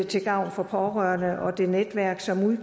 til gavn for pårørende og det netværk som